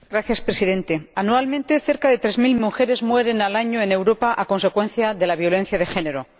Señor Presidente, anualmente, cerca de 3000 mujeres mueren al año en Europa a consecuencia de la violencia de género.